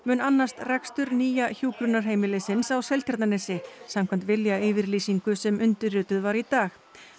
annast rekstur nýja hjúkrunarheimilisins á Seltjarnarnesi samkvæmt viljayfirlýsingu sem undirrituð var í dag